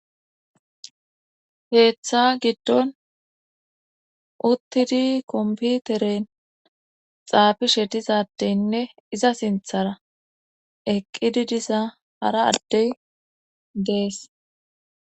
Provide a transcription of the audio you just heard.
Heeththa giddon uttidi komputeren xaafi she dizadeynne iza sinthara eqqidi disa hara addey dees